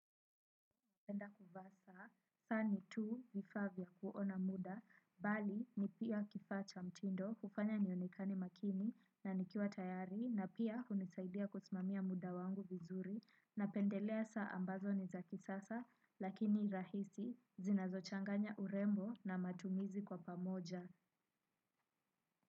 Napenda kuvaa saa, saa ni tu vifaa vya kuona muda, bali ni pia kifaa cha mtindo hufanya nionekane makini na nikiwa tayari na pia hunisaidia kusimamia muda wangu vizuri. Napendelea saa ambazo ni za kisasa lakini rahisi zinazochanganya trembling na matumizi kwa pamoja.